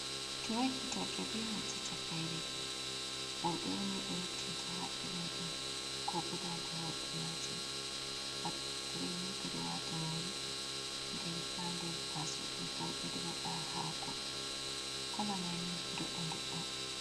Ture hitorde benata takaire, worbe un ni be rottinta ha irin do ko bo dada worbe majum, hatreni be do wata nyiri den ha der taso do bo bedo wada hako kalamani dodda dodda.